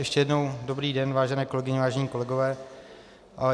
Ještě jednou dobrý den, vážené kolegyně, vážení kolegové.